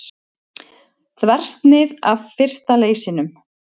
Þversnið af fyrsta leysinum.